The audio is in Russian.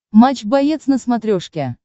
матч боец на смотрешке